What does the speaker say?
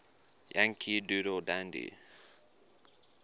yankee doodle dandy